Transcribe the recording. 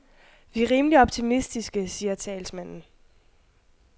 Vi er rimeligt optimistiske, siger talsmanden.